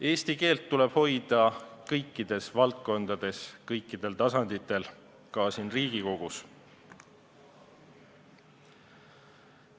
Eesti keelt tuleb hoida kõikides valdkondades kõikidel tasanditel, ka siin Riigikogus.